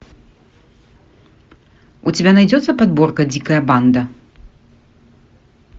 у тебя найдется подборка дикая банда